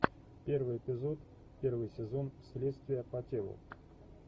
первый эпизод первый сезон следствие по телу